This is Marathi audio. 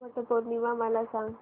वट पौर्णिमा मला सांग